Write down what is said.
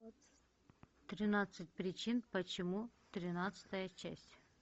тринадцать причин почему тринадцатая часть